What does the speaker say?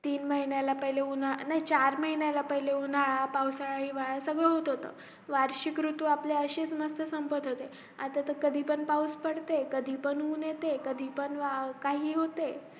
तीन महिन्याला पहिले उन्हं नाही चार महिल्याला पहिले उन्हाळा पावसाळा हिवाळा सगळं होत होत वार्षिक ऋतूअसे आपले आता तर कधी पण पाऊस पडते कधीपण ऊन येते कधी पण काही होते